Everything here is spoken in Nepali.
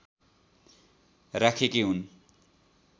राखेकी हुन्